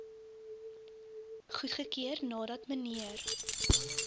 goedgekeur nadat mnr